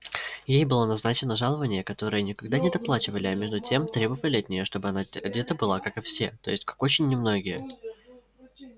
ей было назначено жалованье которое никогда не доплачивали а между тем требовали от нее чтоб она одета была как и все то есть как очень немногие